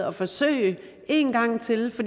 at forsøge en gang til